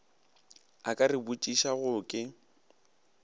a ka re botšišago ke